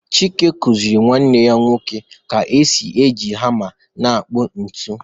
Chike kuziri nwanne ya nwoke ka esi eji hama na-akpụ ntu